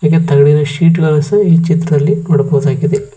ಹಾಗೆ ತಗಡಿನ ಶೀಟ್ ಗಳು ಸಹ ಈ ಚಿತ್ರದಲ್ಲಿ ನೋಡಬಹುದಾಗಿದೆ.